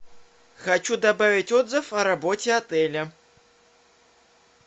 хочу добавить отзыв о работе отеля